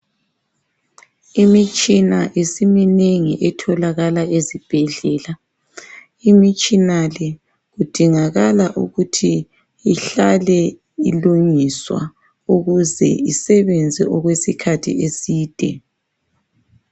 Imitshina isiminengi etholakala ezibhedlela. Imitshina le kudingakala ukuthi ihlale ilungiswa ukuze isebenze okwesikhathi eside.